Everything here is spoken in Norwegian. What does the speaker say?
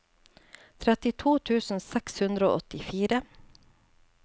trettito tusen seks hundre og åttifire